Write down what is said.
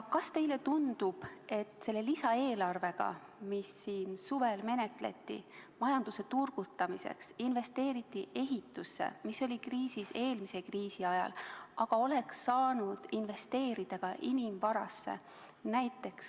Kas teile tundub, et selle lisaeelarvega, mida suvel menetleti – majanduse turgutamiseks investeeriti ehitusse, mis oli kriisis eelmise kriisi ajal – oleks saanud investeerida ka inimvarasse?